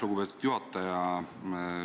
Lugupeetud juhataja!